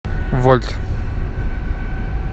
вольт